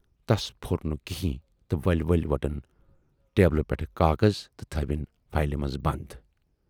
تس پھوٗر نہٕ کِہنیٖں تہٕ ؤلۍ ؤلۍ وٹٕنۍ ٹیبلہٕ پٮ۪ٹھٕ کاغذ تہٕ تھٲوِن فایلہِ منز بَند۔